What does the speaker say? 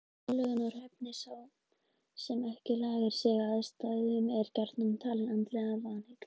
Aðlögunarhæfni Sá sem ekki lagar sig að aðstæðum er gjarnan talinn andlega vanheill.